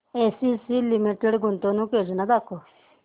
ACC Limited गुंतवणूक योजना दाखव